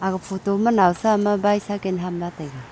aga photo ma noasa am bycycle ham lah taiga.